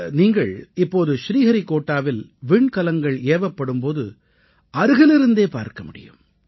நீங்கள் இப்போது ஸ்ரீஹரிக்கோட்டாவில் விண்கலங்கள் ஏவப்படும் போது நீங்கள் அருகிலிருந்தே பார்க்க முடியும்